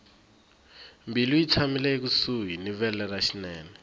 mbilu yi tshamile ekusuhi ni vele ra xinene